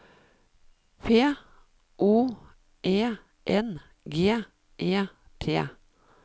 P O E N G E T